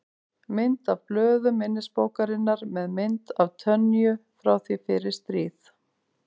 Mynd af blöðum minnisbókarinnar með mynd af Tönyu frá því fyrir stríð.